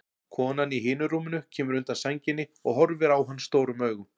Konan í hinu rúminu kemur undan sænginni og horfir á hann stórum augum.